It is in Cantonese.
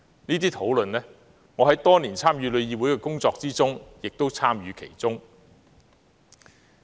這些討論，我在多年參與旅議會的工作期間也有參與其中。